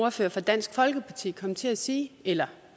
ordfører fra dansk folkeparti kom til at sige eller